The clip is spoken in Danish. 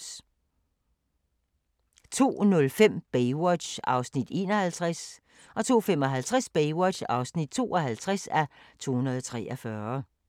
02:05: Baywatch (51:243) 02:55: Baywatch (52:243)